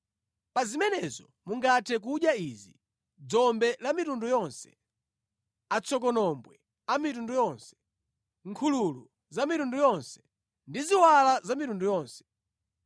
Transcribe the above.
Pa zimenezo mungathe kudya izi: dzombe la mitundu yonse, atsokonombwe a mitundu yonse, nkhululu za mitundu yonse, ndi ziwala za mitundu yonse.